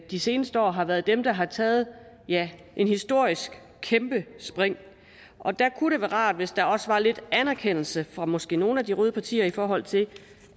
de seneste år har været dem der har taget et historisk kæmpe spring og der kunne det være rart hvis der også var lidt anerkendelse fra måske nogle af de røde partier i forhold til